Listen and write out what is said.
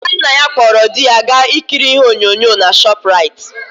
Adannaya kpọrọ dị gaa ikiri ihe onyonyo na Shọprait.